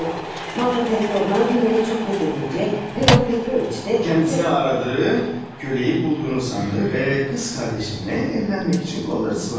Bəli, Marfa Petrovna Dunyanı çox tərifləyincə Pyotr Petroviç də özünə axtardığı köləni tapdığını zənn etdi və bacımla evlənmək üçün qollarını çırmaladı.